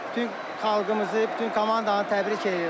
Bütün xalqımızı, bütün komandanı təbrik eləyirəm.